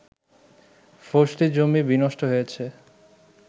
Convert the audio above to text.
ফসলী জমি বিনষ্ট হয়েছে